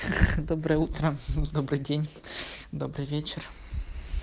доброе утро добрый день добрый вечер